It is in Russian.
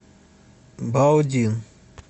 баодин